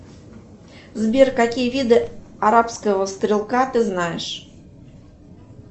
сбер какие виды арабского стрелка ты знаешь